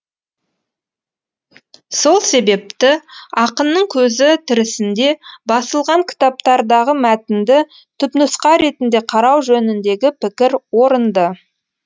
сол себепті ақынның көзі тірісінде басылған кітаптардағы мәтінді түпнұсқа ретінде қарау жөніндегі пікір орынды